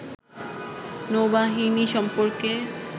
নৌবাহিনী সম্পর্কে